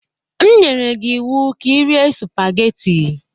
E nyere m gi iwu ka irie sụpagheti!